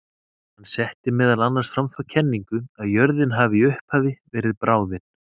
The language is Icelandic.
Hann setti meðal annars fram þá kenningu að jörðin hafi í upphafi verið bráðin.